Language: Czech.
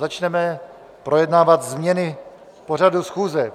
Začneme projednávat změny pořadu schůze.